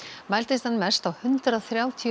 mældist hann mest á hundrað þrjátíu og